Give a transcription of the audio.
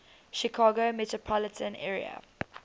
chicago metropolitan area